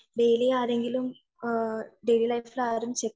daily ആരെങ്കിലും daily ലൈഫിൽ ആരെങ്കിലും